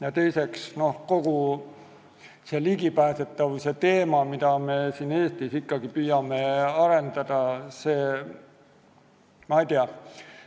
Ja teiseks, kogu see juurdepääsetavuse teema – me püüame seda siin Eestis parandada, aga see vajab lahendust.